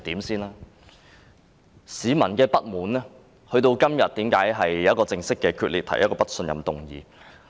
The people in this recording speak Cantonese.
為何市民的不滿會導致議員今天決定與她正式決裂，提出不信任議案？